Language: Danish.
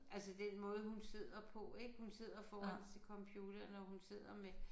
Altså den måde hun sidder på ik hun sidder foran sin computer når hun sidder med